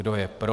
Kdo je pro?